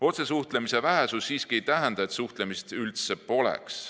Otsesuhtlemise vähesus siiski ei tähenda, nagu suhtlemist üldse poleks.